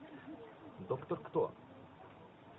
доктор кто